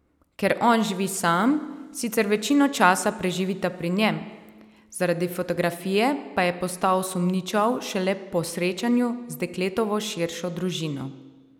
Ker on živi sam, sicer večino časa preživita pri njem, zaradi fotografije pa je postal sumničav šele po srečanju z dekletovo širšo družino.